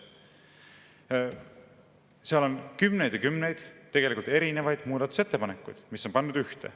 Seal on kümneid ja kümneid erinevaid muudatusettepanekuid, mis on pandud ühte.